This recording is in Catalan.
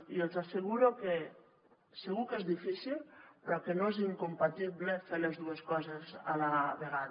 i els asseguro que segur que és difícil però que no és incompatible fer les dues coses a la vegada